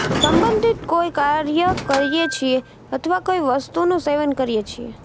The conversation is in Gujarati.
સંબંધિત કોઈ કાર્ય કરીએ છીએ અથવા કોઈ વસ્તુનુ સેવન કરીએ છીએ